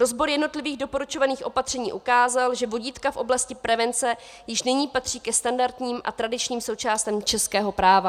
Rozbor jednotlivých doporučovaných opatření ukázal, že vodítka v oblasti prevence již nyní patří ke standardním a tradičním součástem českého práva.